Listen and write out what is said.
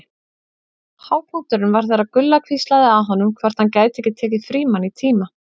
Hápunkturinn var þegar Gulla hvíslaði að honum hvort hann gæti ekki tekið Frímann í tíma.